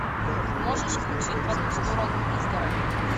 можешь включить по ту сторону изгороди